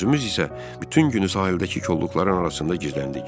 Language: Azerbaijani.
Özümüz isə bütün günü sahildəki kolluqların arasında gizləndik.